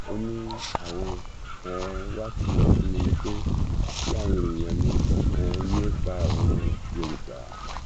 ó ní àwọn um wà á kìlọ fún mi ni pé kí àwọn èèyàn mi um yéé pa àwọn yorùbá